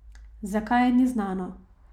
Zakaj, ni znano.